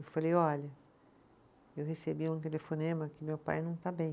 Eu falei, olha, eu recebi um telefonema que meu pai não está bem.